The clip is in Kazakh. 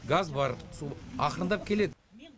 газ бар су ақырындап келеді